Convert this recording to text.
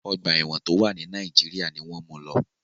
Ọ̀gba ẹ̀wọ̀n tó wà ni Nàìjíríà ni wọ́n mu lọ..